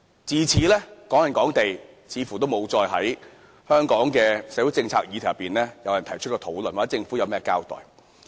自此，"港人港地"似乎沒有再在香港的社會政策議題上被提出討論或獲政府作任何交代。